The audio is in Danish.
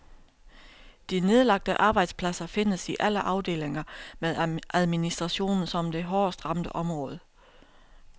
De nedlagte arbejdspladser findes i alle afdelinger med administrationen som det hårdest ramte område.